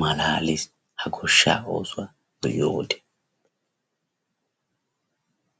malaales ha goshsha oosuwaa be'iyo wode.